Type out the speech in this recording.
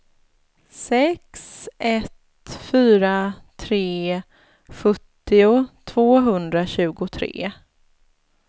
sex ett fyra tre sjuttio tvåhundratjugotre